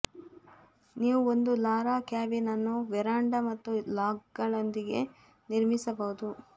ನೀವು ಒಂದು ಲಾರಾ ಕ್ಯಾಬಿನ್ ಅನ್ನು ವೆರಾಂಡಾ ಮತ್ತು ಲಾಗ್ಗಳೊಂದಿಗೆ ನಿರ್ಮಿಸಬಹುದು